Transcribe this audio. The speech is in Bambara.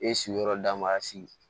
E sigiyɔrɔ damasigi